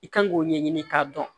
I kan k'o ɲɛɲini k'a dɔn